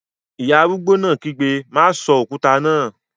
Ìyá arúgbó náà kígbe, "má sọ òkúta náà!"